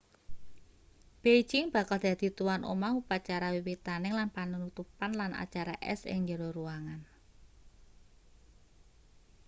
beijing bakal dadi tuwan omah upacara wiwitaning lan panutupan lan acara es ing njero ruangan